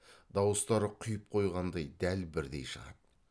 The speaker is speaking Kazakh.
дауыстары құйып қойғандай дәл бірдей шығады